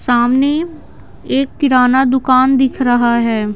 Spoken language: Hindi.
सामने एक किराना दुकान दिख रहा है।